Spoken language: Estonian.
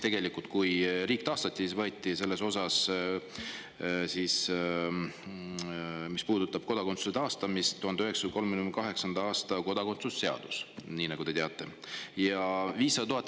Tegelikult, kui riik taastati, siis võeti selles osas, mis puudutab kodakondsuse taastamist, üle 1938. aasta kodakondsuse seaduse.